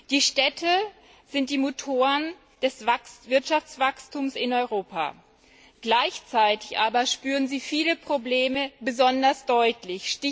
Die Städte sind die Motoren des Wirtschaftswachstums in Europa. Gleichzeitig aber spüren sie viele Probleme besonders deutlich.